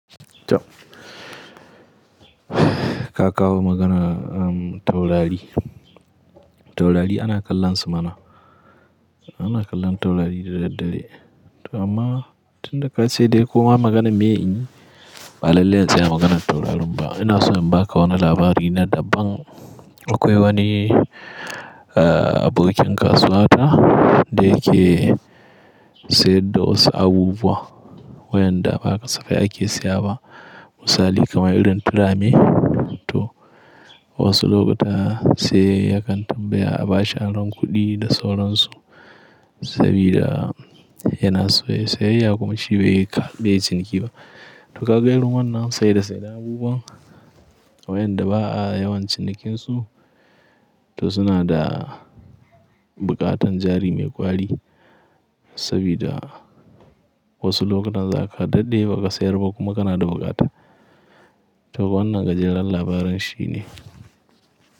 To. Ka kawo maganar taurari. Taurari ana kallon su mana. Ana kallon taurari da daddare. To amma tun da ka ce dai koma maganar me in yi ba lalle in tsaya maganar taurarin ba. Ina so in ba ka wani labari na daban akwai wani abokin kasuwa ta da yake sayar da wasu abubuwa wa'yanda ba kasafai ake siyaba. Misali kamar irin turame to wasu lokuta sai yakan tambaya abashi aron kuɗi da sauransu sabida yana so yayi sayayya kuma shi bai yi ƙar beyi ciniki ba. To ka ga irin wannan sai da sai da abubuwa wa'yanda ba a yawan cinikinsu to suna da buƙatar jari mai ƙwari sabida wasu lokutan za ka daɗe ba ka sayar ba kuma kana da buƙata. To wannan gajeren labarin shi ne.